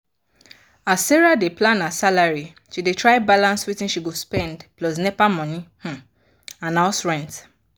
as sarah dey plan her salary she dey try balance wetin she go spend plus nepa money um and house rent.